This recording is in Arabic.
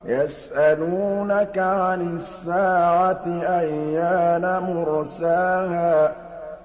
يَسْأَلُونَكَ عَنِ السَّاعَةِ أَيَّانَ مُرْسَاهَا